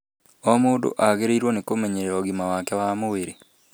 O mũndũ agĩrĩirũo nĩ kũmenyerera ũgima wake wa mwĩrĩ.